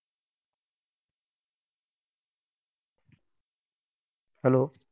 hello!